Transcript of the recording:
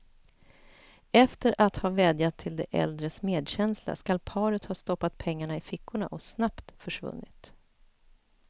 Efter att ha vädjat till de äldres medkänsla skall paret ha stoppat pengarna i fickorna och snabbt försvunnit.